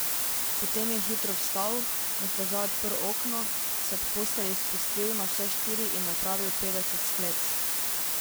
Potem je hitro vstal, na stežaj odprl okno, se ob postelji spustil na vse štiri in napravil petdeset sklec.